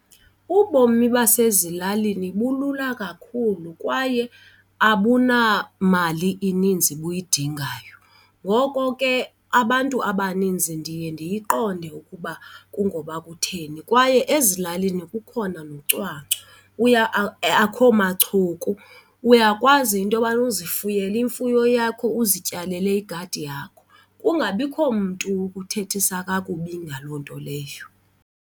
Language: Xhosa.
Ubomi basezilalini bulula kakhulu kwaye abunamali ininzi buyidingayo, ngoko ke abantu abaninzi ndiye ndiyiqonde ukuba kungoba kutheni. Kwaye ezilalini kukhona nocwangco akho machuku. Uyakwazi into yobana uzifuyele imfuyo yakho uzityalele igadi yakho, kungabikho mntu ukuthethisa kakubi ngaloo nto leyo.